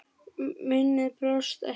Minnið brást ekki.